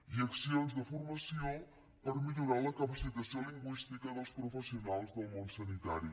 i accions de formació per millorar la capacitació lingüística dels professionals del món sanitari